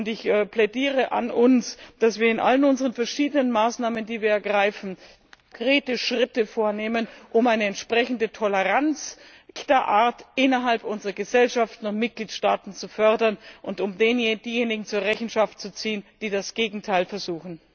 Ich plädiere dafür, dass wir in allen unseren verschiedenen Maßnahmen, die wir ergreifen, konkrete Schritte vornehmen, um eine entsprechende Toleranz echter Art innerhalb unserer Gesellschaften und Mitgliedstaaten zu fördern und um diejenigen zur Rechenschaft zu ziehen, die das Gegenteil versuchen.